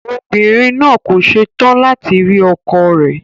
Obìnrin náà kò se tán láti rí ọkọ rẹ̀.